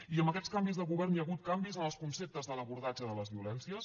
i amb aquests canvis de govern hi ha hagut canvis en els conceptes de l’abordatge de les violències